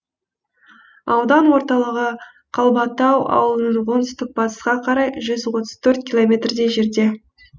аудан орталығы қалбатау ауылынан оңтүстік батысқа қарай жүз отыз төрт километрдей жерде